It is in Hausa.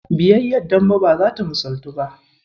Biyayyar Dembe ba zata misalaltu ba.